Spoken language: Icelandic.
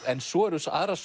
en svo eru aðrar